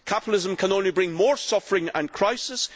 Capitalism can only bring more suffering and crisis.